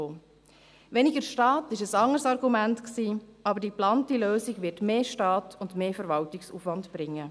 Weniger Staat: Das war ein anderes Argument, doch die geplante Lösung wird mehr Staat und mehr Verwaltungsaufwand bringen.